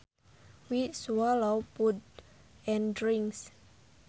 We swallow food and drinks